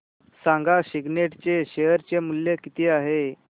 सांगा सिग्नेट चे शेअर चे मूल्य किती आहे